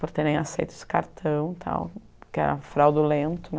Por terem aceito esse cartão e tal, que era fraudulento, né?